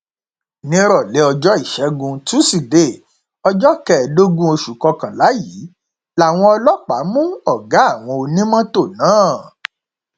nírọlẹ ọjọ ìṣẹgun tusidee ọjọ kẹẹẹdógún oṣù kọkànlá yìí làwọn ọlọpàá mú ọgá àwọn onímọtò náà